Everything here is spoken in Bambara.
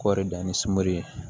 Kɔɔri dan ni sumi ye